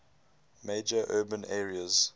major urban areas